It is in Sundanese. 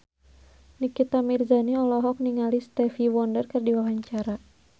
Nikita Mirzani olohok ningali Stevie Wonder keur diwawancara